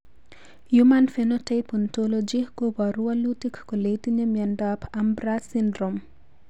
Human Phenotype Ontology koporu wolutik kole itinye Miondap Ambras syndrome?